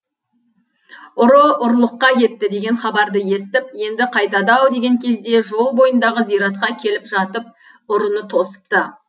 ұры ұрлыққа кетті деген хабарды естіп енді қайтады ау деген кезде жол бойындағы зиратқа келіп жатып ұрыны тосыпты